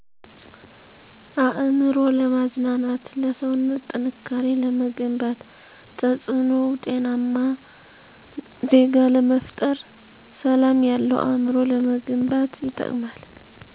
አእምሮ ለማዝናናት ለሰዉነት ጥንካሬ ለመገንባት ተፅእኖዉ ጤናማ ዜጋ ለመፍጠር ሰላም ያለዉ አእምሮ ለመገንባት ይጠቅማል